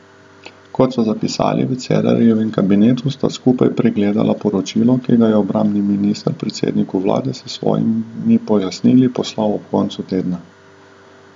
Kot so zapisali v Cerarjevem kabinetu, sta skupaj pregledala poročilo, ki ga je obrambni minister predsedniku vlade s svojimi pojasnili poslal ob koncu tedna.